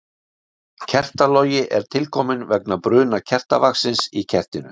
Kertalogi er til kominn vegna bruna kertavaxins í kertinu.